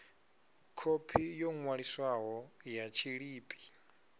khophi yo ṅwaliswaho ya tshiḽipi